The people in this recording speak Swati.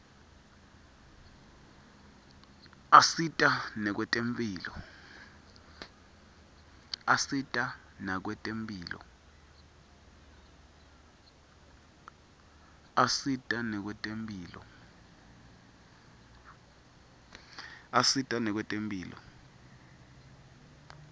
asita nakwetemphilo